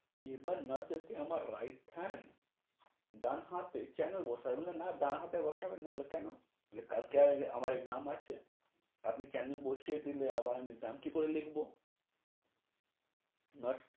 এবার nurse এসে আমার right hand, ডান হাতে canal বসায় না মানে ডান হাতে বসাবে। না হলে কেনো, কালকে আমার exam আছে, আপনি canal বসিয়ে দিলে আবার আমি দাম কি করে লিখবো? nurse nurse